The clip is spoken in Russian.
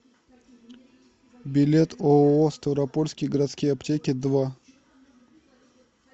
билет ооо ставропольские городские аптеки два